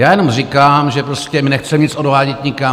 Já jenom říkám, že prostě my nechceme nic odvádět nikam.